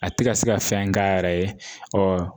A tɛ ka se ka fɛn k'a yɛrɛ ye ɔ